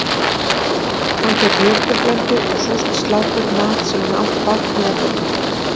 Hann fékk mjólkurblöndu og súrt slátur, mat sem hann átti bágt með að borða.